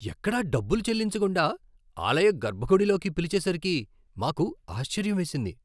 ఎక్కడా డబ్బులు చెల్లించకుండా ఆలయ గర్భగుడి లోకి పిలిచేసరికి మాకు ఆశ్చర్యం వేసింది.